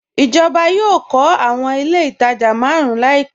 Ijọba yọọ̀ kọ̀ awọn ilẹ̀ itajà màrùn làìpẹ